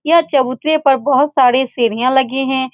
यह चबूतरे पर बहुत सारी सीढ़ियाँ लगे हैं।